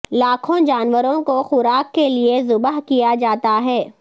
لاکھوں جانوروں کو خوراک کے لیے ذبح کیا جاتا ہے